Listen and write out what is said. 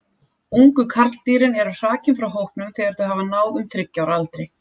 Ungu karldýrin eru hrakin frá hópnum þegar þau hafa náð um þriggja ára aldri.